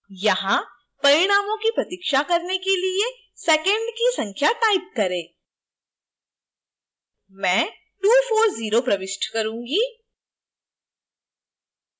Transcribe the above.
यहां परिणामों की प्रतीक्षा करने के लिए seconds की संख्या type करें